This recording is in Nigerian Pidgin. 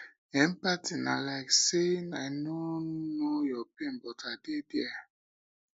empathy na like saying i no know your pain but i dey there